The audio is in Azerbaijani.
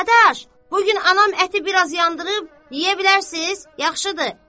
Dadaş, bu gün anam əti biraz yandırıb, yeyə bilərsiz, yaxşıdır.